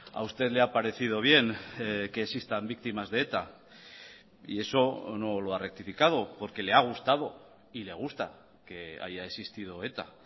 a usted le ha parecido bien que existan víctimas de eta y eso no lo ha rectificado porque le ha gustado y le gusta que haya existido eta